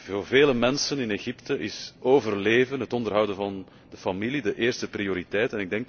Voor vele mensen in Egypte is overleven, het onderhouden van de familie, de eerste prioriteit.